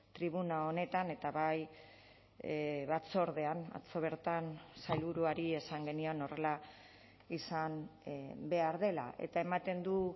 tribuna honetan eta bai batzordean atzo bertan sailburuari esan genion horrela izan behar dela eta ematen du